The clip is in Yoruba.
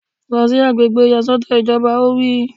Lọ sí àgbègbè ìyàsọ́tọ̀ ìjọba! Ó wí